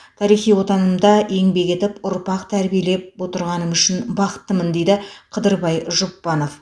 тарихи отанымда еңбек етіп ұрпақ тәрбиелеп отырғаным үшін бақыттымын дейді қыдырбай жұпбанов